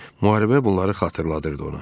Müharibə bunları xatırladırdı ona.